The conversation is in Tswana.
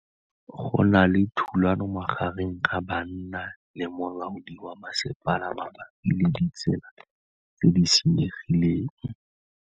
Go na le thulanô magareng ga banna le molaodi wa masepala mabapi le ditsela tse di senyegileng.